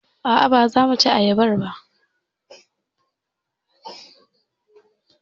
A'a baza muci ayabar ba.